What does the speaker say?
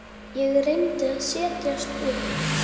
Ég reyndi að setjast upp.